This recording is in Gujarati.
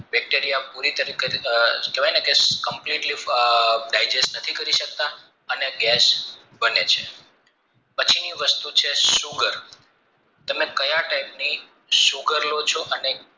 bacteria નથી કરી સકતા અને ગેસ બને છે પછીની વસ્તુ છે sugar તમે કાયા type ની sugar લો ચો અને